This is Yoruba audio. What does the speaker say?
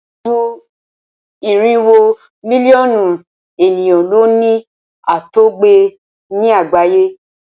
ju irinwo Mílíọ̀nù ènìyàn ló ní àtọgbẹ ní àgbáyé.